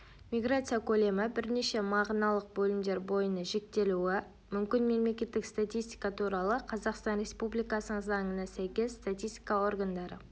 миграция көлемі бірнеше мағыналық бөлімдер бойына жіктелуі мүмкін мемлекеттік статистика туралы қазақстан республикасының заңына сәйкес статистика органдары